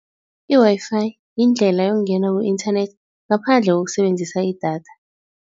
I-Wi-Fi yindlela yokungena ku-internet ngaphandle kokusebenzisa idatha.